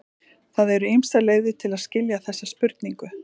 Það eru ýmsar leiðir til að skilja þessa spurningu.